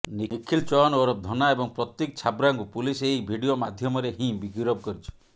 ନିଖିଲ ଚୌହାନ୍ ଓରଫ ଧନ୍ନା ଏବଂ ପ୍ରତୀକ ଛାବ୍ରାଙ୍କୁ ପୁଲିସ୍ ଏହି ଭିଡିଓ ମାଧ୍ୟମରେ ହିଁ ଗିରଫ କରିଛି